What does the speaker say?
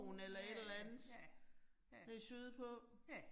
Ja ja, ja, ja